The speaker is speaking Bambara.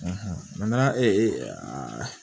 ee